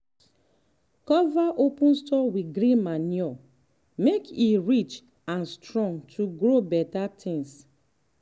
cover open soil with green manure make e rich and strong to grow better things.